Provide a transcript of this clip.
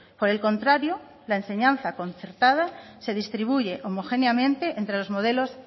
por el contrario la enseñanza concertada se distribuye homogéneamente entre los modelos